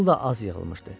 Pul da az yığılmışdı.